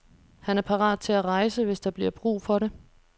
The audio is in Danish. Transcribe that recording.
Han er parat til at rejse, hvis der bliver brug for det.